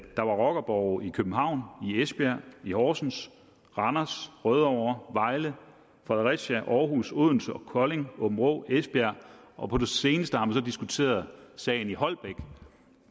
er rockerborge i københavn i esbjerg i horsens randers rødovre vejle fredericia aarhus odense kolding aabenraa og esbjerg og på det seneste har man diskuteret sagen i holbæk